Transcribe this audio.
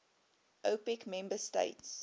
opec member states